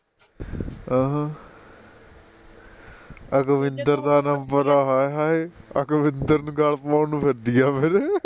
ਅਹੱ ਅਕਵਿਂਦਰ ਦਾ ਨੰਬਰ ਆ ਹਾਏ ਹਾਏ ਅਕਵਿਂਦਰ ਨੂੰ ਗਲ ਪਵਾਉਣ ਨੂੰ ਫਿਰਦੀ ਐ ਮੇਰੇ